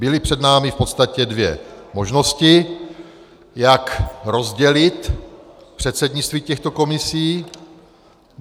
Byly před námi v podstatě dvě možnosti, jak rozdělit předsednictví těchto komisí.